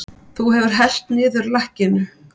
Þú hefur hellt niður lakkinu!